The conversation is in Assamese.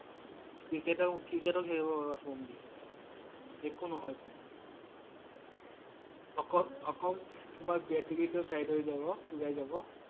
Cricket ৰ ~ Cricket ও খেলিব পাৰিবা ফোন দি কেনে । একো নহয় ফোন । অক~অকল তোমাৰ battery টো fade হৈ যাব। ওলাই যাব ।